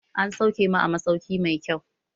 An sauke mu a masauki mai kyau